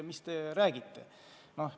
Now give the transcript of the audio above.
Mis te räägite!